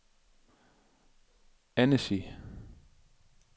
Annecy